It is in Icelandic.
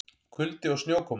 Kuldi og snjókoma